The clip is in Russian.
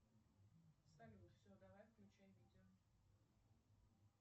салют все давай включай видео